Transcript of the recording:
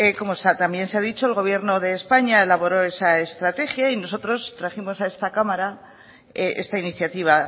como también se ha dicho el gobierno de españa elaboró esa estrategia y nosotros trajimos a esta cámara esta iniciativa